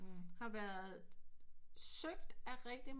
Har været besøgt af rigtig